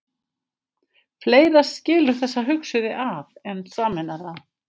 Fleira skilur þessa hugsuði að en sameinar þá.